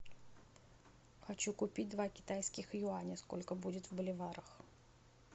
хочу купить два китайских юаня сколько будет в боливарах